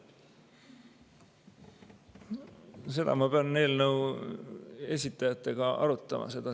Seda ma pean eelnõu esitajatega arutama.